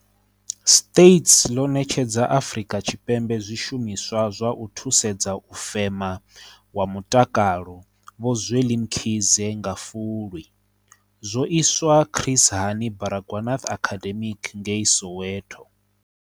States ḽo ṋetshedza Afri ka Tshipembe zwishumiswa zwa u thusedza u fema wa Mutakalo Vho Zweli Mkhize nga Fulwi. Zwo iswa Chris Hani Baragwanath Academic ngei Soweto.